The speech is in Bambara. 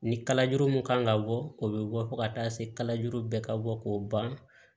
Ni kalajuru min kan ka bɔ o bɛ bɔ fo ka taa se kalajuru bɛ ka bɔ k'o ban